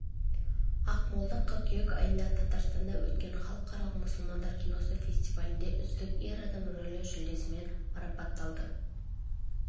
ақмолда қыркүйек айында татарстанда өткен халықаралық мұсылмандар киносы фестивалінде үздік ер адам рөлі жүлдесімен марапатталды